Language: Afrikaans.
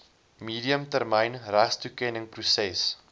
medium termyn regstoekenningsproses